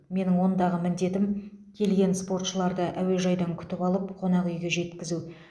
менің ондағы міндетім келген спортшыларды әуежайдан күтіп алып қонақ үйге жеткізу